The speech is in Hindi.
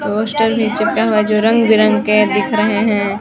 पोस्टर भी चिपका हुआ है जो रंग बिरंग के दिख रहे है।